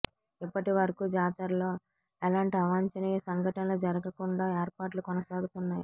ఇప్పటి వరకు జాతరలో ఎలాంటి అవాంఛనీయ సంఘటనలు జరుగకుండా ఏర్పాట్లు కొనసాగుతున్నాయి